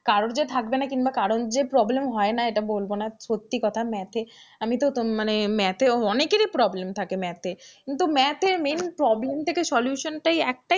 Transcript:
কারোর যে থাকবে না কিংবা কারোর যে problem হয়না এটা বলবো না সত্যি কথা math এ আমি তো মানে math অনেকেরই problem থাকে math কিন্তু math এ main problem থেকে solution টাই একটাই,